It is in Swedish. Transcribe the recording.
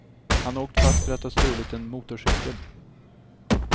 Han har åkt fast för att ha stulit en motorcykel.